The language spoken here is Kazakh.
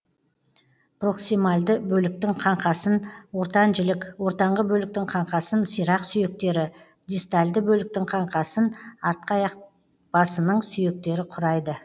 проксимальды бөліктің қаңқасын ортан жілік ортаңғы бөліктің қаңқасын сирақ сүйектері дистальды бөліктің қаңқасын артқы аяқ басының сүйектері құрайды